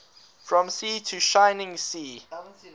from sea to shining sea